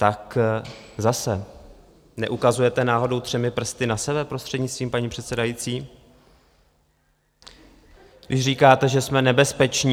Tak zase, neukazujete náhodou třemi prsty na sebe, prostřednictvím paní předsedající, když říkáte, že jsme nebezpeční?